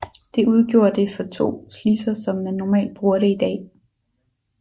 Det udgjorde det for to slidser som man normalt bruger det i dag